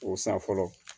O sa fɔlɔ